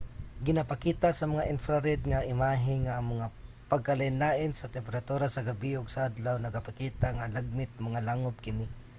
ginapakita sa mga infrared nga imahe nga ang mga pagkalainlain sa temperatura sa gabii ug sa adlaw nagapakita nga lagmit mga langub kini